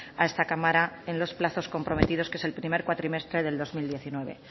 a esta cámara en los plazos comprometidos que es el primer cuatrimestre del dos mil diecinueve